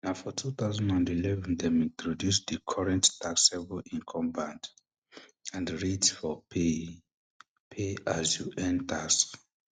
na for um two thousand and eleven dem introduce di current taxable income bands and rates for paye pay as you earn tax